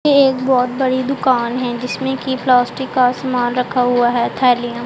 एक बहुत बड़ी दुकान है जिसमें कि प्लास्टिक का सामान रखा हुआ है थैलियां--